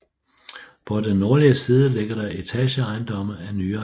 På den nordlige side ligger der etageejendomme af nyere dato